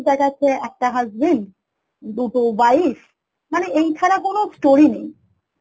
দেখাচ্ছে একটা husband দুটো wife মানে এই ছাড়া কোনো story নেই